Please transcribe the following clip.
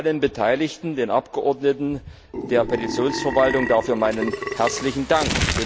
Allen Beteiligten, den Abgeordneten, der Petitionsverwaltung dafür meinen herzlichen Dank!